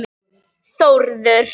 Skoðum rafeindir í atómi.